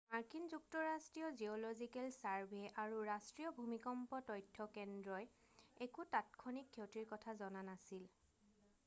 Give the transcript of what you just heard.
মাৰ্কিন যুক্তৰাষ্ট্ৰৰ geological survey U S G S আৰু ৰাষ্ট্ৰীয় ভূমিকম্প তথ্য কেন্দ্ৰই একো তাৎক্ষণিক ক্ষতিৰ কথা জনা নাছিল।